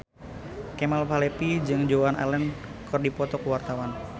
Kemal Palevi jeung Joan Allen keur dipoto ku wartawan